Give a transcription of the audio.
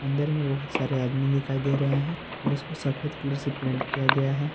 अंदर में बहुत सारे आदमी दिखाई दे रहे हैं और इसको सफेद कलर से पेंट किया गया है।